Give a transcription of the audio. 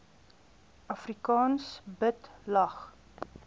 afrikaans bid lag